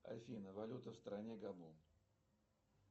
афина валюта в стране гану